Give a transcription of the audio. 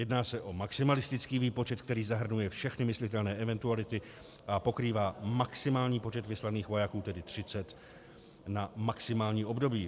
Jedná se o maximalistický výpočet, který zahrnuje všechny myslitelné eventuality a pokrývá maximální počet vyslaných vojáků, tedy 30, na maximální období.